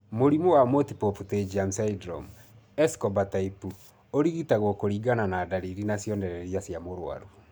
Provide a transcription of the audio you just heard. Mũrimũ wa Multiple pterygium syndrome, Escobar type ũrigitagwo kũringana na ndariri na cionereria cia mũrwaru